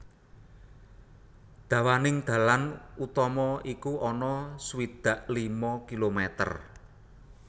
Dawaning dalan utama iku ana swidak lima kilometer